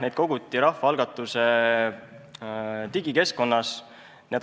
Neid koguti digikeskkonnas Rahvaalgatus.ee.